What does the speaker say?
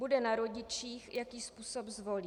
Bude na rodičích, jaký způsob zvolí.